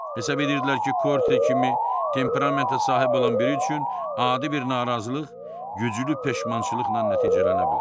Hesab edirdilər ki, Korte kimi temperamentə sahib olan biri üçün adi bir narazılıq güclü peşmançılıqla nəticələnə bilər.